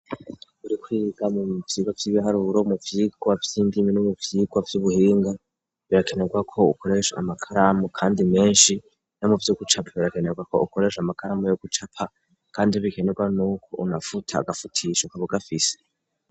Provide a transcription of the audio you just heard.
Urikwibiga mu vyirwa vy'ibihariuro mu vyirwa vy'indimi nu mu vyirwa vy'ubuhinga birakenerwa ko ukoresha amakaramu, kandi menshi no mu vyo gucapa birakenerwa ko ukoresha amakaramu yo gucapa, kandi bikenerwa n' uko unafuta agafutiyisho kabugafise.